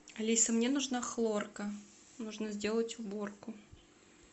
алиса мне нужна хлорка нужно сделать уборку